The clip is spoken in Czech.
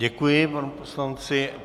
Děkuji panu poslanci.